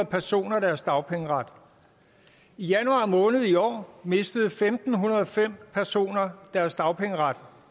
personer deres dagpengeret i januar måned i år mistede femten hundrede og fem personer deres dagpengeret